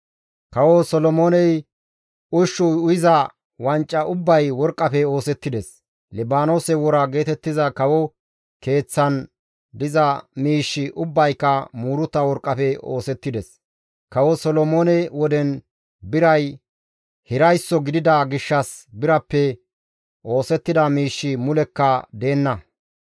Kawo Solomooney ushshu uyiza wanca ubbay worqqafe oosettides; Libaanoose wora geetettiza kawo keeththan diza miishshi ubbayka muuruta worqqafe oosettides; kawo Solomoone woden biray hiraysso gidida gishshas birappe oosettida miishshi mulekka deenna.